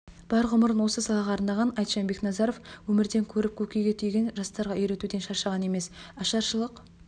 бар ғұмырын осы салаға арнаған айтжан бекназаров өмірден көріп көкейге түйгенін жастарға үйретуден шаршаған емес ашаршылық